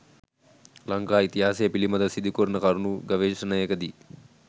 ලංකා ඉතිහාසය පිළිබඳ සිදුකරන කරුණු ගවේෂණයක දී